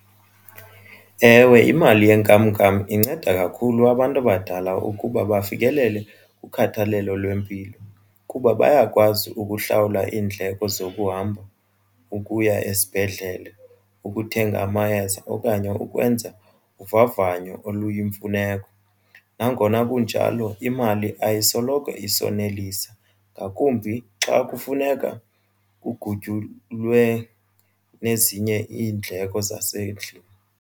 Ewe imali yenkamnkam inceda kakhulu abantu abadala ukuba bafikelele kukhathalelo lwempilo kuba bayakwazi ukuhlawula iindleko zokuhamba ukuya esibhedlele ukuthenga amayeza okanye ukwenza uvavanyo oluyimfuneko. Nangona kunjalo imali ayisoloko isonelisa ngakumbi xa kufuneka kuguqulwe nezinye iindleko zasendlini.